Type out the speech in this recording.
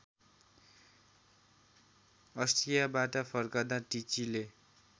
अष्ट्रियाबाट फर्कँदा टिचीले